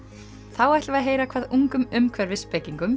þá ætlum við heyra hvað ungum